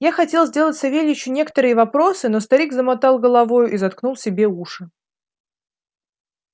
я хотел сделать савельичу некоторые вопросы но старик замотал головою и заткнул себе уши